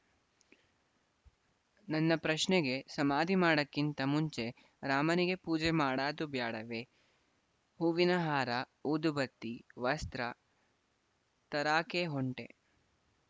ನನ್ನ ಪ್ರಶ್ನೆಗೆ ಸಮಾಧಿ ಮಾಡಾಕಿಂತ ಮುಂಚೆ ರಾಮನಿಗೆ ಪೂಜೆಮಾಡಾದು ಬ್ಯಾಡವೆ ಹೂವಿನಹಾರ ಊದುಬತ್ತಿ ವಸ್ತ್ರ ತರಾಕೆ ಹೊಂಟೆ